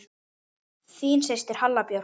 Þín systir, Halla Björk.